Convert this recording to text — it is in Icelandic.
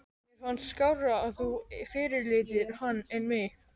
Mér fannst skárra að þú fyrirlitir hann en mig.